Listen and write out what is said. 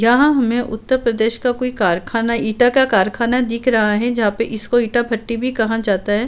यहाँ हमे उत्तर प्रदेश का कोई कारखाना ईंटा का कारखाना दिख रहा है। जहाँ पे इसको ईंटा भट्टी भी कहा जाता है।